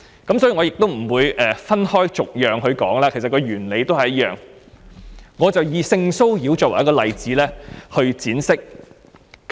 因此，我不會分開逐一討論，因為原理都是一樣，我會以性騷擾作為例子闡釋。